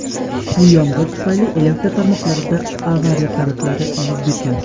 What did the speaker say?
kuchli yomg‘ir tufayli elektr tarmoqlarida "avariya" holatlari yuz bergan.